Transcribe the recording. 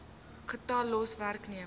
getal los werknemers